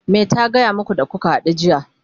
me ta gaya maku da kuka hadu jiya?